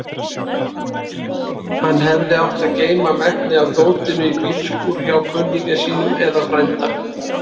Hann hefði átt að geyma megnið af dótinu í bílskúr hjá kunningja sínum eða frænda.